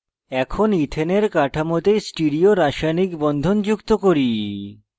এখন ইথেনের কাঠামোতে স্টিরিও রাসায়নিক বন্ধন যুক্ত করি